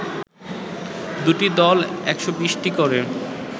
দুটি দল ১২০ টি করে